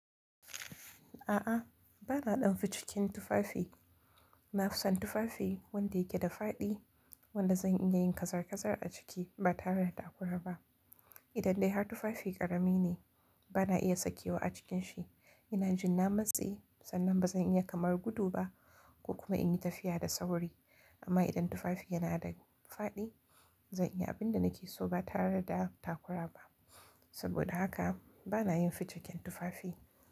A'a, ba na ɗan ficikin tufafi. Na fi son tufafi wanda yake da fadi wanda zan iya yin kazar-kazar a ciki ba tare da takura ba. Idan dai har tufafi ƙarami ne, ba na iya sakewa a cikin shi, yana jinna matse, sannan ba zan iya kamar gudu ba ko kuma in yi tafiya da sauri. Amma idan tufafi yana da fadi, zan iya abin da nake so ba tare da takura ba. Saboda haka ba na yin ficiken tufafi.